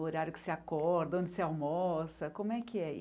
O horário que você acorda, onde você almoça, como é que é?